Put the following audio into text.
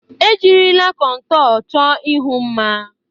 Ejirila kontọr chọọ ihu mma.